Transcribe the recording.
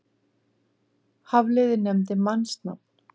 Hafliði nefndi mannsnafn.